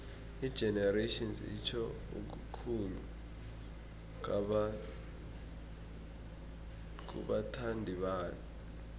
igenerations itjho okukhulu kubathandibayo